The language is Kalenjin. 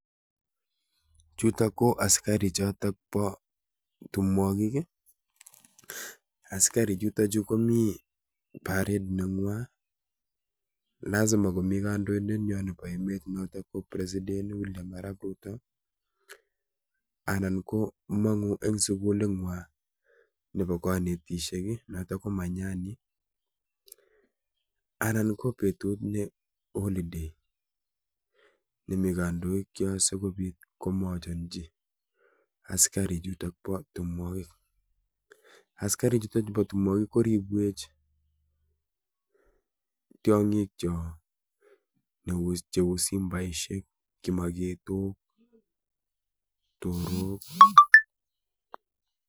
Chutok ko asikarik chotok bo timwogik. Asikarichuto chu komi parade nengw'i, lasima komi kandindet ngwan noto nebo emet ab Kenya noto ko president William arap Ruto anan ko mong'u en suguling'wai nebo konetisiet noto ko manyani. Anan ko betut ne holiday ne mi kandoikyok sikopiit komochenchi asikarichuto bo timwogik. Asikarichuto chubo timwogik koribwech tiong'ikyok cheu simbaisiek, kimaketok, torok.